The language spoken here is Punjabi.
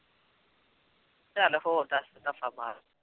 ਚੱਲ ਹੋਰ ਦੱਸ ਦਫ਼ਾ ਮਾਰ।